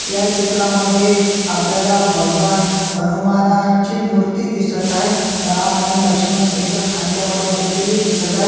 या चित्रामध्ये आपल्याला भगवान हनुमानाची मुर्ती दिसत आहे राम आणि लक्षिमन त्यांच्या खांद्यावर बसलेले दिसत आहे.